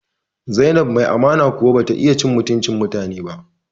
Zainab mace mai amana kuwa bata iya cin mutuncin mutane ba